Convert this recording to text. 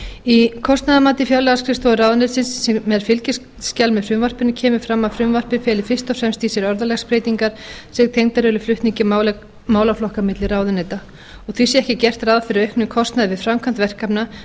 í kostnaðarmati fjárlagaskrifstofu fjármálaráðuneytisins sem er fylgiskjal með frumvarpinu kemur fram að frumvarpið feli fyrst og fremst í sér orðalagsbreytingar sem tengdar eru flutningi málaflokka á milli ráðuneyta og því sé ekki gert ráð fyrir auknum kostnaði við framkvæmd verkefna